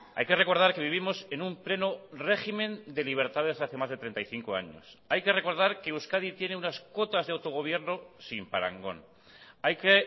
hay que recordar que vivimos en un pleno régimen de libertades hace más de treinta y cinco años hay que recordar que euskadi tiene unas cuotas de autogobierno sin parangón hay que